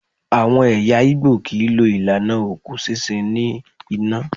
Àwọn ẹ̀yà Igbo kì í lo ìlànà òkú sísun ní iná.